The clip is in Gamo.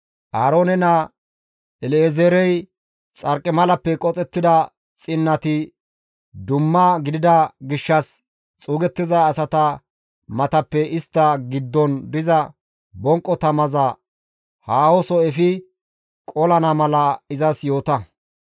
«Aaroone naa El7ezeerey xarqimalappe qoxettida xinnati dumma gidida gishshas xuugettiza asata matappe istta giddon diza bonqo tamaza haahoso efi qolana mala izas yoota;